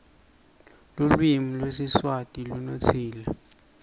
luklvimi lwesiswati wndtsile